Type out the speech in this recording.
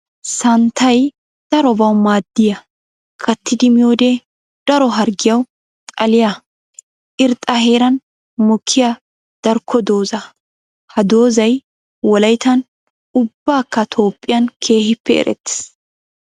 Santtay darobbawu maadiya kattidi miyoode daro harggiyawu xalliya irxxa heeran mokiya darkko dooza. Ha doozay wolayttan ubbakka toopbphiyan keehippe eretees.